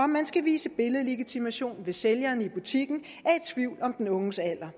man skal vise billedlegitimation hvis sælgeren i butikken er i tvivl om den unges alder